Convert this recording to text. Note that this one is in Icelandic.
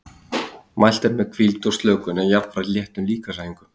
Mælt er með hvíld og slökun en jafnframt léttum líkamsæfingum.